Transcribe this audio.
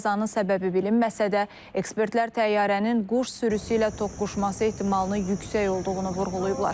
Qəzanın səbəbi bilinməsə də, ekspertlər təyyarənin quş sürüsü ilə toqquşması ehtimalının yüksək olduğunu vurğulayıblar.